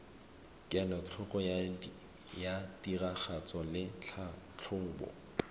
kelotlhoko ya tiragatso le tlhatlhobo